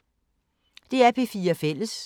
DR P4 Fælles